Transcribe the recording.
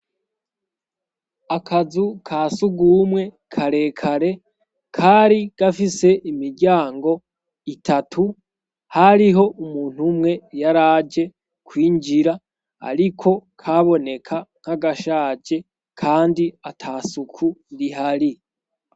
Akazu ka sugumwe kare kare kari gafise imiryango itatu hariho umuntu umwe yaraje kwinjira ariko kaboneka nk'agashaje kandi atasuku rihari.